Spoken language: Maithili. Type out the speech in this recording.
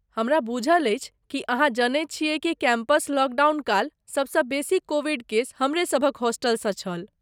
हमरा बूझल अछि कि अहाँ जनैत छियै कि कैंपस लॉकडाउन काल सभसँ बेसी कोविड केस हमरेसभक ह़ॉस्टलसँ छल।